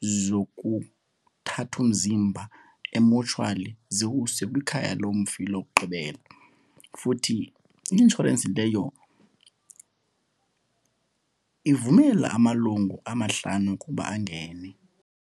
zokuthatha umzimba emotshwali ziwuse kwikhaya lomfi lokugqibela. Futhi i-inshorensi leyo ivumela amalungu amahlanu ukuba angene.